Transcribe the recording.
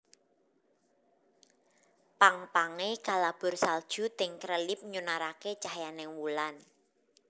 Pang pange kalabur salju ting krelip nyunarake cahyaning wulan